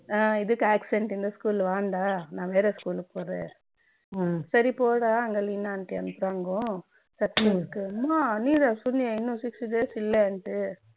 foreign language